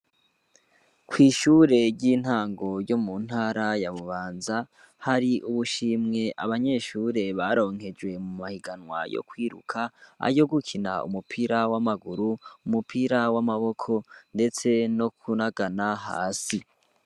Kw'ishure ry'intango ryo mu ntara ya Bubanza, hari ubushimwe abanyeshure baronkejwe mumahiganwa yo kwiruka, ayo gukina umupira w'amaguru, umupira w'amaboko, eka ndetse no kunagana hasi.